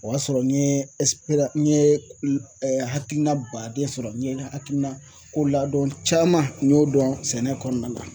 O y'a sɔrɔ n ye n ye hakilina baden sɔrɔ n ye hakilina koladɔn caman n y'o dɔn sɛnɛ kɔnɔna na.